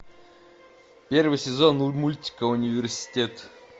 первый сезон мультика университет